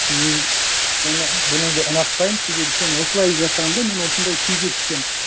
мен бұныңды ұнатпаймын себебі сен осылай жасағанда мен осындай күйге түсемін